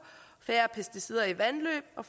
færre pesticider i vandløb og